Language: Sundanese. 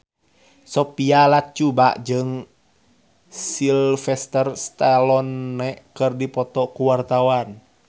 Sophia Latjuba jeung Sylvester Stallone keur dipoto ku wartawan